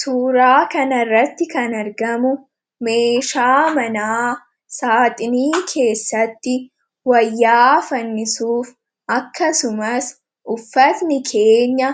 Suuraa kanarratti kan argamu meeshaa manaa saaxinii keessatti wayyaa fannisuuf akkasumas uffatni keenya